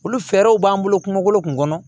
Olu fɛɛrɛw b'an bolo kungolo kun kɔnɔ